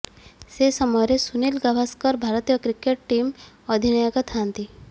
ସେ ସମୟରେ ସୁନୀଲ ଗାଭାସ୍କର ଭାରତୀୟ କ୍ରିକେଟ୍ ଟିମ୍ର ଅଧିନାୟକ ଥାଆନ୍ତି